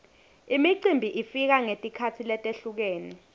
imicimbi ifika ngetikhatsi letehlukene